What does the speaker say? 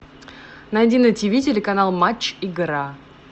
найди на тиви телеканал матч игра